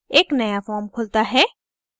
एक नया form खुलता है